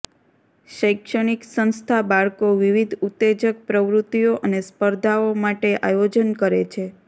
શૈક્ષણિક સંસ્થા બાળકો વિવિધ ઉત્તેજક પ્રવૃત્તિઓ અને સ્પર્ધાઓ માટે આયોજન કરે છે